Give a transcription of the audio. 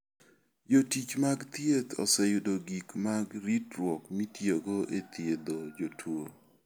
Jotich mag thieth oseyudo gik mag ritruok mitiyogo e thiedho jotuo.